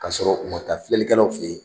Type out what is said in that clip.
K'a sɔrɔ u ma taa filɛlikɛlaw fɛ yen